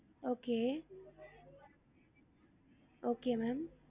Okay okay ma'am